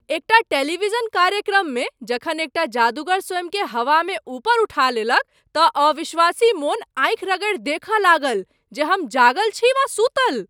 एकटा टेलीविजन कार्यक्रममे जखन एकटा जादूगर स्वयँकेँ हवामे उपर उठा लेलक तँ अविश्वासी मोन आँखि रगड़ि देखय लागल जे हम जागल छी वा सूतल।